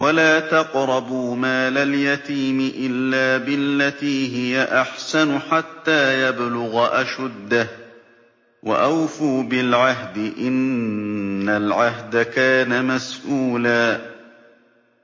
وَلَا تَقْرَبُوا مَالَ الْيَتِيمِ إِلَّا بِالَّتِي هِيَ أَحْسَنُ حَتَّىٰ يَبْلُغَ أَشُدَّهُ ۚ وَأَوْفُوا بِالْعَهْدِ ۖ إِنَّ الْعَهْدَ كَانَ مَسْئُولًا